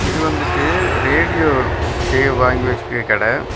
இது வந்துட்டு ரேடியோ சேவ் வாங்கி வெச்சிக்கிற கடெ.